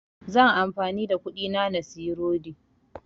Zan amfani da kuɗin na siyi rodi